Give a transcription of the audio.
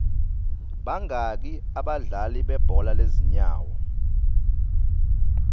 bangaki abadlali bebhola lezinyawo